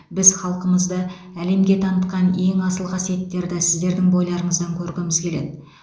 біз халқымызды әлемге танытқан ең асыл қасиеттерді сіздердің бойларыңыздан көргіміз келеді